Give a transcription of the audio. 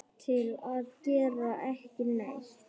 til að gera ekki neitt